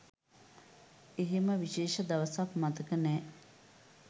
එහෙම විශේෂ දවසක් මතක නෑ.